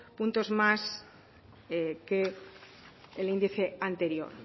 puntos más que el índice anterior